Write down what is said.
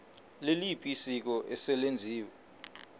liliphi isiko eselenziwe